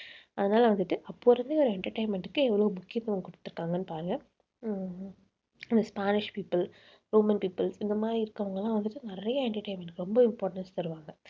அதனால வந்துட்டு அப்போ இருந்த ஒரு entertainment க்கு எவ்வளவு முக்கியத்துவம் கொடுத்து இருக்காங்கன்னு பாருங்க உம் இந்த spanish people, roman people இந்த மாதிரி இருக்கிறவங்க எல்லாம் வந்துட்டு நிறைய entertainment ரொம்ப importance தருவாங்க.